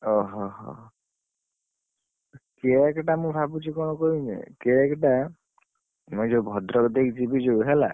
ଓହୋ ହୋ cake ଟା ମୁଁ ଭାବୁଛି କଣ କହିମି? cake ଟା, ମୁଁ ଯୋଉ ଭଦ୍ରକ ଦେଇ ଯିବି ଯୋଉ ହେଲା ।